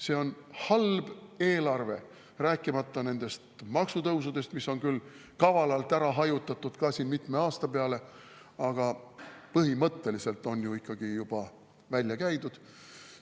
See on halb eelarve, rääkimata nendest maksutõusudest, mis on küll kavalalt ära hajutatud mitme aasta peale, aga põhimõtteliselt on ikkagi juba välja käidud.